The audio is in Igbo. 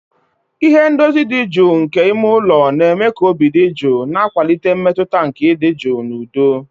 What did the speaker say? Ihe ndozi dị jụụ nke ime ụlọ na-eme ka obi dị jụụ, na-akwalite mmetụta nke ịdị jụụ na udo